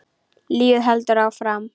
Lífið heldur áfram.